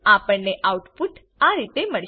આપણને આઉટપુટ આ રીતે મળશે